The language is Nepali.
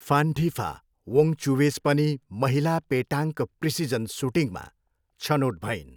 फान्टिफा वोङ्गचुवेज पनि महिला पेटाङ्क प्रिसिजन सुटिङमा छनोट भइन्।